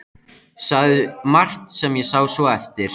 Sagði margt sem ég sá svo eftir.